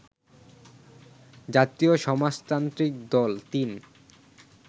জাতীয় সমাজতান্ত্রিক দল ৩